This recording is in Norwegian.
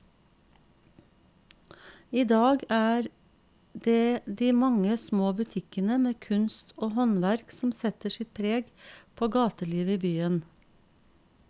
I dag er det de mange små butikkene med kunst og håndverk som setter sitt preg på gatelivet i byen.